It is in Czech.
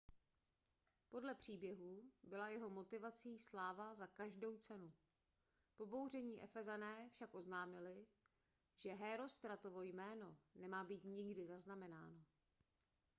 podle příběhu byla jeho motivací sláva za každou cenu pobouření efezané však oznámili že hérostratovo jméno nemá být nikdy zaznamenáno